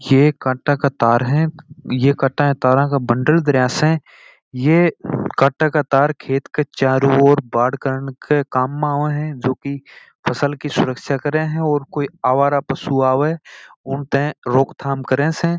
ये काटे का तार है ये काटे का बंडल धरा स ये काटे का तार खेत के चारो और बाड़ करण के काम में आव स जो की फसल की सुरक्षा करते स और कोई आवारा पशु आए उनसे रोकथाम कर स।